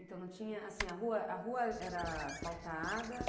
Então não tinha, assim, a rua, a rua era asfaltada?